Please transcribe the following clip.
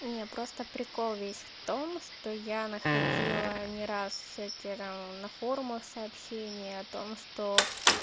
не просто прикол весь в том что я находила не раз всякие там на форумах сообщения о том что